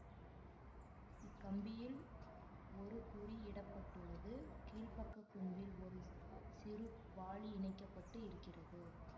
இக்கம்பியில் ஒரு குறி இட பட்டுள்ளது கீழ்ப்பக்க கூம்பில் ஒரு சி சிறு வாளி இணைக்க பட்டு இருக்கிறது